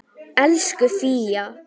Elsku Fía.